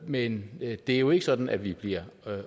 men det er jo ikke sådan at vi bliver